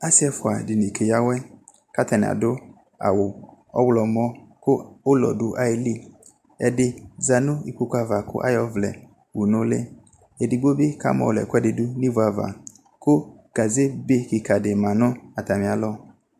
Asi ɛfua dini keyawɛKatani adʋ awu ɔɣlɔmɔ kʋ ulɔ dʋ ayiliƐdi zanu ikpoku'ava kʋ ayɔ ɔvlɛ wu nuliEdigbo bi kamɔlɔ ɛkuɛdi dʋ nivuava Kʋ gaze be kika di ma nʋ atamialɔ